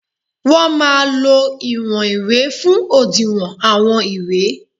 Wọ́n máa lo ìwọ̀n ìwé fún òdiwọ̀n àwọn ìwé